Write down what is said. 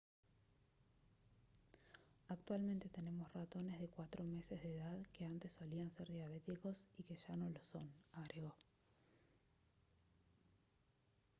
«actualmente tenemos ratones de cuatro meses de edad que antes solían ser diabéticos y que ya no lo son» agregó